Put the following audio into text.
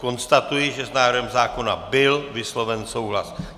Konstatuji, že s návrhem zákona byl vysloven souhlas.